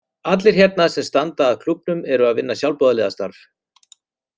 Allir hérna sem standa að klúbbnum eru að vinna sjálfboðaliðastarf.